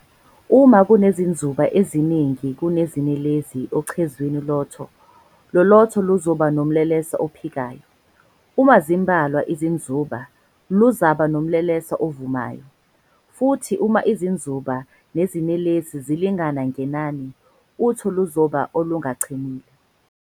Uma kunezinzuba eziningi kunezinelezi ocezwini lotho, lolotho luzoba nomlelesa ophikayo, uma zimbalwa izinzuba, luzoba nomlelesa ovumayo, futhi uma izinzuba nezinelesi zilingana ngenani, utho luzoba olungachemile.